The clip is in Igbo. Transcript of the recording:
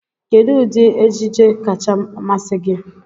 Kedụ ụdị ejije kacha amasị gị?